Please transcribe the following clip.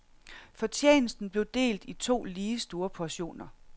Fortjenesten blev delt i to lige store portioner.